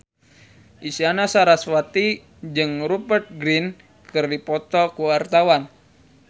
Isyana Sarasvati jeung Rupert Grin keur dipoto ku wartawan